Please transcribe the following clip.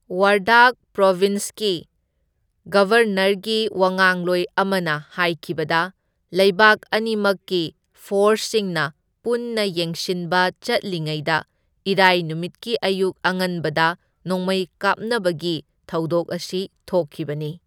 ꯋꯥꯔꯗꯥꯛ ꯄ꯭ꯔꯣꯕꯤꯟꯁꯀꯤ ꯒꯕꯔꯅꯔꯒꯤ ꯋꯥꯉꯥꯡꯂꯣꯏ ꯑꯃꯅ ꯍꯥꯢꯈꯤꯕꯗ ꯂꯩꯕꯥꯛ ꯑꯅꯤꯃꯛꯀꯤ ꯐꯣꯔꯁꯁꯤꯡꯅ ꯄꯨꯟꯅ ꯌꯦꯡꯁꯤꯟꯕ ꯆꯠꯂꯤꯉꯩꯗ ꯏꯔꯥꯢ ꯅꯨꯃꯤꯠꯀꯤ ꯑꯌꯨꯛ ꯑꯉꯟꯕꯗ ꯅꯣꯡꯃꯩ ꯀꯥꯞꯅꯕꯒꯤ ꯊꯧꯗꯣꯛ ꯑꯁꯤ ꯊꯣꯛꯈꯤꯕꯅꯤ꯫